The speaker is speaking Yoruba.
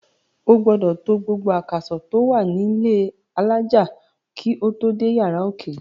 O gbodò to gbogbo àkàsò tó wà nílẹ́ alájà kó tò dé yàrá òkè.